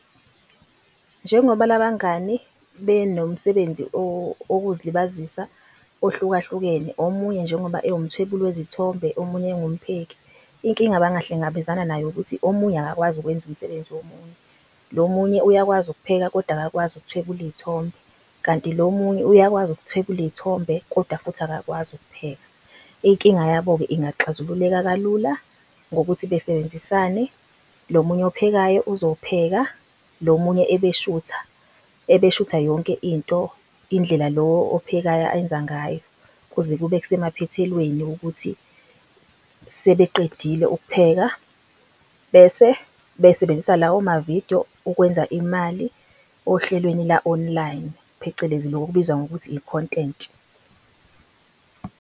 Njengoba la bangani benomsebenzi wokuzilibazisa ohlukahlukene. Omunye njengoba ewumthwebuli wezithombe, omunye engumpheki, inkinga abangahlangabezana nayo ukuthi omunye akakwazi ukwenza umsebenzi womunye. Lo munye uyakwazi ukupheka kodwa akakwazi ukuthwebula iy'thombe. Kanti lo munye uyakwazi ukuthwebula iy'thombe kodwa futhi akakwazi ukupheka. Inkinga yabo-ke ingaxazululeka kalula, ngokuthi besebenzisane, lo munye ophikayo uzopheka, lo munye ebeshutha, ebeshutha yonke into indlela lo ophekayo enza ngayo, kuze kube kusemaphethelweni ukuthi sebeqedile ukupheka, bese besebenzisa lawo ma-video ukwenza imali ohlelweni la-online phecelezi loku okubizwa ngokuthi i-content.